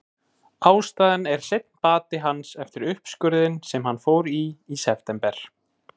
Ástæðan er seinn bati hans eftir uppskurðinn sem hann fór í í september.